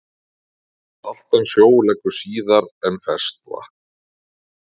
Saltan sjó leggur síðar en ferskvatn.